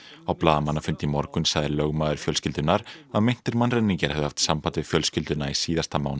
á blaðamannafundi í morgun sagði lögmaður fjölskyldunnar að meintir mannræningjar hefðu haft samband við fjölskylduna í síðasta mánuði